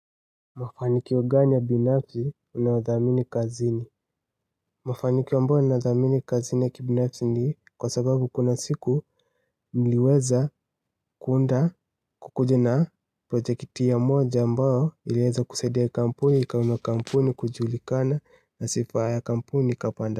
Mafanikio gani ya binafsi unayodhamini kazini? Mafanikio ambayo ninadhamini kazini ya kibinafsi ni kwa sababu kuna siku niliweza kuunda kukuja na projekiti moja ambayo iliweza kusaidia kampuni, ikainua kampuni kujulikana, na sifa ya kampuni, ikapanda.